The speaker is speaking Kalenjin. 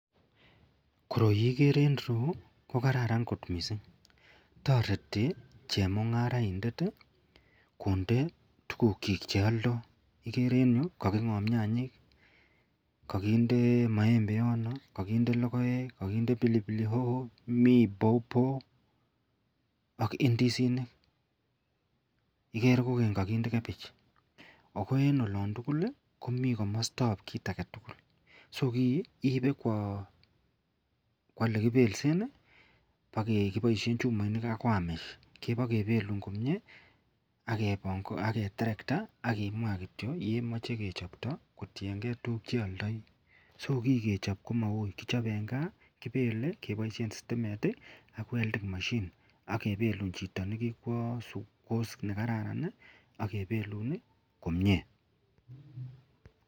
Koroi igere en ireyu ko kararan kot mising tareti chemungaraindet konde tuguk chikbcheyaldo agere en ireyu kokakingob nyanyik ,kakinde maembe yoton kakinde logoek ,kakinde pilipili hoho mi pawpaw ak indisinik ak koraa kakindee cabbage ako en olon tugul komie kamastabbkit agetugul ko kii Ibe Kwa yelekibelsen akobaishen chumainik ak wayamesh kewakebelun komie ageterekta akimwa kityo olemache kechopto kotiyengei tuguk chiyoldoi so ki kechop komaui en gaa kebelen kebaishen stimet ak welding machine kebelun Chito nekikwa sukul ak course nekararan akebelun komie.